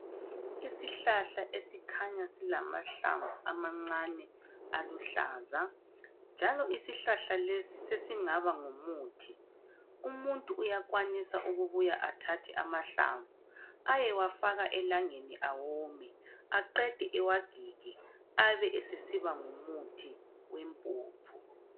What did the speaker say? Iisihlahla esikhanya silamahlamvu amancane aluhlaza njalo isihlahla lesi sesingaba ngumuthi umuntu uyakwanisa ukubuya athathe amahlamvu ayewafaka elangeni awome aqede awagige abe sesiba ngumuthi wempuphu.